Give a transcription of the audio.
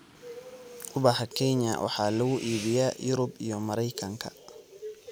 Ubaxa Kenya waxa lagu iibiyaa Yurub iyo Maraykanka.